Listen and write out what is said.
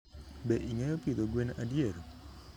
be ingeyo pidho gwen adier?